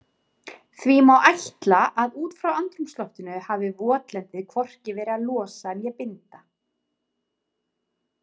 Því má áætla að út frá andrúmsloftinu hafi votlendið hvorki verið að losa né binda.